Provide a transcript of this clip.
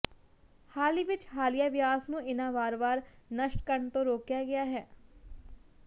ਹਾਲ ਹੀ ਵਿੱਚ ਹਾਲੀਆ ਵਿਆਸ ਨੂੰ ਇਹਨਾਂ ਵਾਰਵਾਰ ਨਸ਼ਟ ਕਰਨ ਤੋਂ ਰੋਕਿਆ ਗਿਆ ਹੈ